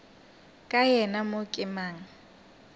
ka yena mo ke mang